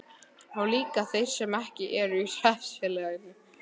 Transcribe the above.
Og líka þeir sem ekki eru í hreppsfélaginu?